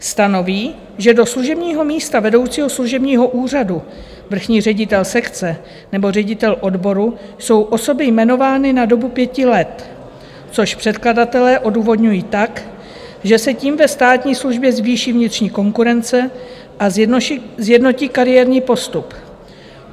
Stanoví, že do služebního místa vedoucího služebního úřadu, vrchní ředitel sekce nebo ředitel odboru jsou osoby jmenovány na dobu pěti let, což předkladatelé odůvodňují tak, že se tím ve státní službě zvýší vnitřní konkurence a sjednotí kariérní postup.